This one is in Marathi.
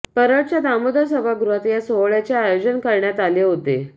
परळच्या दामोदर सभागृहात या सोहळ्याचे आयोजन करण्यात आले होते